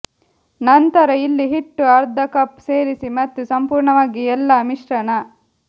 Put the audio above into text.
ನಂತರ ಇಲ್ಲಿ ಹಿಟ್ಟು ಅರ್ಧ ಕಪ್ ಸೇರಿಸಿ ಮತ್ತು ಸಂಪೂರ್ಣವಾಗಿ ಎಲ್ಲಾ ಮಿಶ್ರಣ